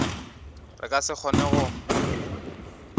re ka se kgone go